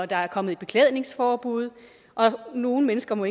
der er kommet et beklædningsforbud og nogle mennesker må